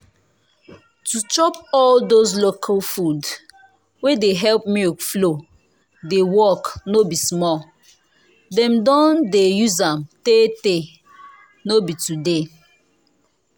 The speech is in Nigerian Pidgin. to chop all those local food wey de help milk flow de work no be small. dem don dey use am tey tey no be today